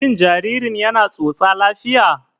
Shin jaririn yana tsotsa lafiya?